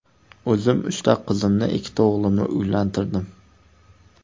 O‘zim uchta qizimni, ikkita o‘g‘limni uylantirdim.